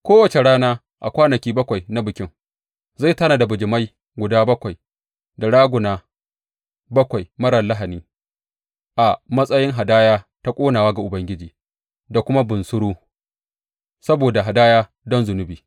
Kowace rana a kwanaki bakwai na Bikin zai tanada bijimai guda bakwai da raguna bakwai marar lahani a matsayi hadaya ta ƙonawa ga Ubangiji, da kuma bunsuru saboda hadaya don zunubi.